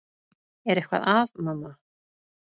Er eitthvað að, mamma?